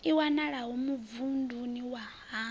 i wanalaho muvhunduni wa haṋu